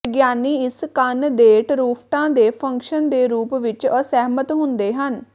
ਵਿਗਿਆਨੀ ਇਸ ਕੰਨ ਦੇ ਟਰੂਫਟਾਂ ਦੇ ਫੰਕਸ਼ਨ ਦੇ ਰੂਪ ਵਿੱਚ ਅਸਹਿਮਤ ਹੁੰਦੇ ਹਨ